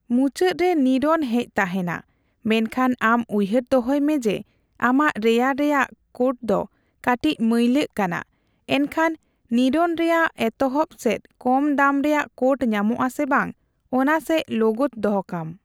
ᱢᱩᱪᱟᱹᱫ ᱨᱮ ᱱᱤᱨᱚᱱ ᱦᱮᱡ ᱛᱟᱦᱮᱸᱱᱟ, ᱢᱮᱱᱠᱷᱟᱱ ᱟᱢ ᱩᱭᱦᱟᱹᱨ ᱫᱚᱦᱚᱭ ᱢᱮ ᱡᱮ ᱟᱢᱟᱜ ᱨᱮᱭᱟᱲ ᱨᱮᱭᱟᱜ ᱠᱳᱴᱫᱚ ᱠᱟᱹᱴᱤᱡ ᱢᱟᱹᱭᱞᱟᱹᱜ ᱠᱟᱱᱟ, ᱮᱱᱠᱷᱟᱱ ᱱᱤᱨᱚᱱ ᱨᱮᱭᱟᱜ ᱮᱛᱚᱦᱚᱵᱥᱮᱡ ᱠᱚᱢ ᱫᱟᱢ ᱨᱮᱭᱟᱜ ᱠᱳᱴ ᱧᱟᱢᱚᱜᱼᱟ ᱥᱮ ᱵᱟᱝ ᱚᱱᱟ ᱥᱮᱡ ᱞᱳᱜᱳᱛ ᱫᱚᱦᱚᱠᱟᱢ ᱾